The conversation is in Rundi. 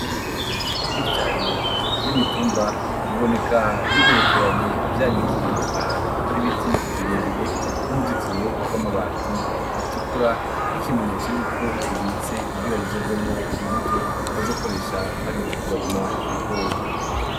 Ibigori vyinshi cane vy'imitumba biboneka bigerekeranye vyanikiye ahantu har'ibiti birebire n'uruzitiro rw'amabati atukura nk'ikimenyetso yuko bibitse kugira bizovemwo imbuto bazokoresha hageze ko barima ibigori.